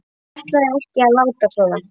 Ég ætlaði ekki að láta svona.